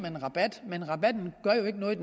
en rabat men rabatten gør jo ikke noget